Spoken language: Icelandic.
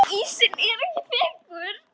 Ísinn var ekki þykkur.